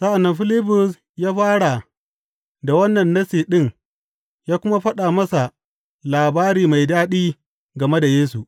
Sa’an nan Filibus ya fara da wannan Nassi ɗin ya kuma faɗa masa labari mai daɗi game da Yesu.